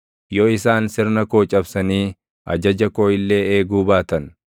yoo isaan sirna koo cabsanii ajaja koo illee eeguu baatan,